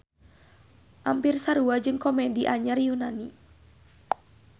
Ampir sarua jeung komedi anyar Yunani.